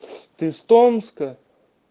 ты из томска